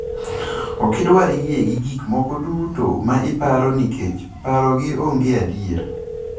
Okidwar yie gi gik moko duto ma iparo nikech parogi onge adier.